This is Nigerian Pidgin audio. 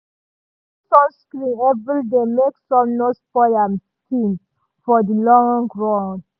e dey use sunscreen every day make sun no spoil im skin for the long run